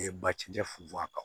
bacɛ funfun a kan